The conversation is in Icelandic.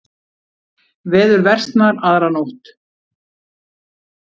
Veður versnar aðra nótt